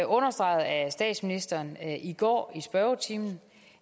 understreget af statsministeren i går i spørgetimen